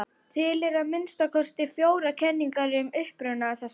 Til eru að minnsta kosti fjórar kenningar um uppruna þess.